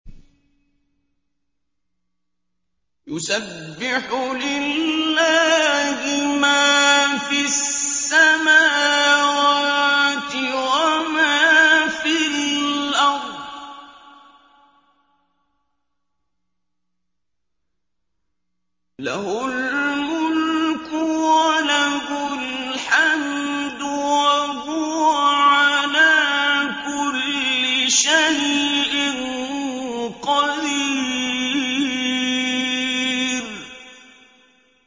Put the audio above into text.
يُسَبِّحُ لِلَّهِ مَا فِي السَّمَاوَاتِ وَمَا فِي الْأَرْضِ ۖ لَهُ الْمُلْكُ وَلَهُ الْحَمْدُ ۖ وَهُوَ عَلَىٰ كُلِّ شَيْءٍ قَدِيرٌ